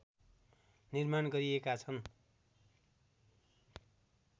निर्माण गरिएका छन्